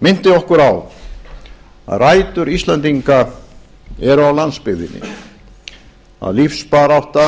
minnti okkur á að rætur íslendinga eru á landsbyggðinni að lífsbarátta